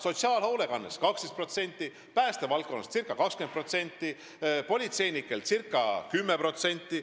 Sotsiaalhoolekandele läheb juurde 12%, päästevaldkonnale ca 20% ja politseinikele ca 10%.